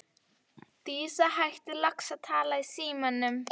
Dísa hættir loks að tala í símann.